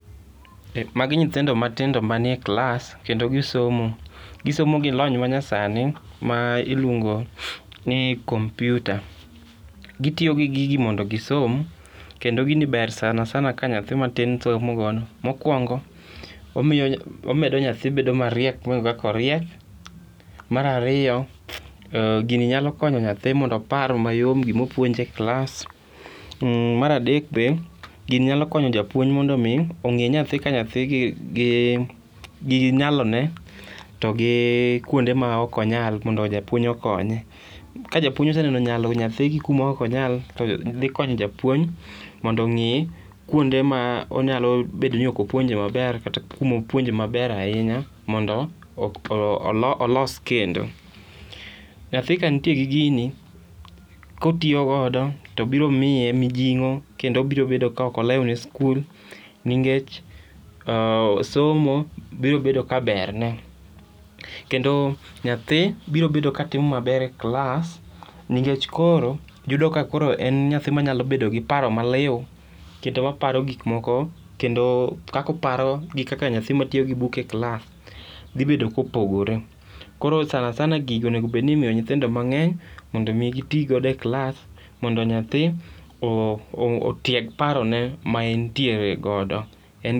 Magi nyithindo matindo manie klass kendo gisomo. Gisomo gi lony manyasani ma iluongo ni computer. Gitiyo gi gigi mondo gisom, kendo gini ber sanasana ka nyathi matin somo godo. Mokwongo, omedo nyathi bedo mariek mohingo kaka oriek, mar ariyo, gini nyalo konyo nyathi mondo opar mayom gima opuonje e klass. Mar adek be, gini nyalo konyo japuonj mondo mi ong'e nyathi ka nyathi gi nyalone to gi kuonde ma ok onyal mondo japuonj okonye. Ka japuonj oseneno nyalo nyathi gi kuma ok onyal to dhi konyo japuonj mondo ong'i kuonde ma nyalo bedo ni ok opuonje maber kata kuma opuonje maber ahinya mondo olos kendo. Nyathi ka nitie gi gini, ka otiyo godo to biro miye mijing'o kendo obiro bedo ka ok olew ne sikul ningech somo biro bedo ka berne. Kendo nyathi biro bedo ka timo maber e kilas nikech koro yudo ka koro en nyathi ma nyalo bedo gi paro maliu kendo maparo gik moko kendo kaka oparo gi nyathi matiyo gi book e kilas dhi bedo kopogore. Koro sanasana gigi onego obed ni imiyo nyithindo mang'eny, mondo mi gitigodo e klas mondo nyathi otieg parone ma entiere godo.